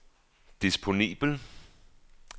disponibel